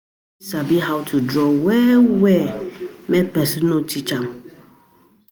Persin fit sabi how to draw well well make persin um no teach um am um